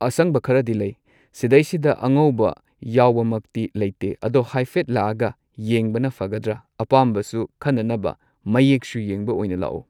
ꯑꯁꯪꯕ ꯈꯔꯗꯤ ꯂꯩ ꯁꯤꯗꯩꯁꯤꯗ ꯑꯉꯧꯕ ꯌꯥꯎꯕꯃꯛꯇꯤ ꯂꯩꯇꯦ ꯑꯗꯣ ꯍꯥꯏꯐꯦꯠ ꯂꯥꯛꯑꯒ ꯌꯦꯡꯕꯅ ꯐꯒꯗ꯭ꯔꯥ ꯑꯄꯥꯝꯕꯁꯨ ꯈꯟꯅꯅꯕ ꯃꯌꯦꯛꯁꯨ ꯌꯦꯡꯕ ꯑꯣꯏꯅ ꯂꯥꯛꯑꯣ꯫